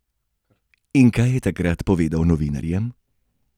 In kaj je takrat povedal novinarjem?